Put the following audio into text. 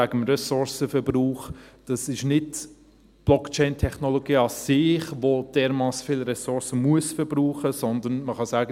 Das eine wegen des Ressourcenverbrauchs: Das ist nicht die Blockchain-Technologie an sich, die dermassen viele Ressourcen verbrauchen , sondern man kann sagen: